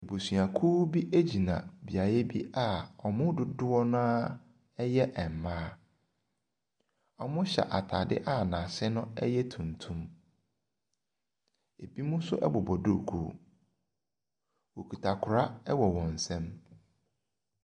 Abusuakuo gyina beaeɛ bi a wɔn mu dodoɔ no ara yɛ mmaa. Wɔhyɛ ataade a n’ase yɛ tuntum, binom nso bobɔ duku. Wɔkita kora wɔ wɔn nsam.